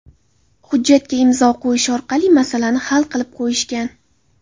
Hujjatga imzo qo‘yish orqali masalani hal qilib qo‘yishgan.